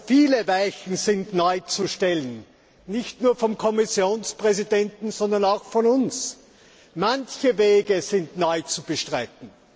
Viele Weichen sind neu zu stellen, nicht nur vom Kommissionspräsidenten, sondern auch von uns! Manche Wege sind neu zu beschreiten.